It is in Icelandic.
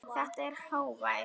Þetta er hávær